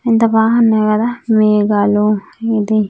ఎంత బాగున్నాయి కదా మేఘలు ఇది.